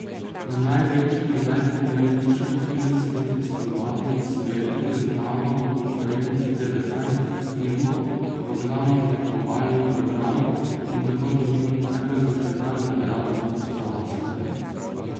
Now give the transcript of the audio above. Na največjem in najpomembnejšem filmskem festivalu na svetu je zmagal v konkurenci devetnajstih filmov v glavnem tekmovalnem programu in tako dobil najbolj zaželeno nagrado za oskarjem.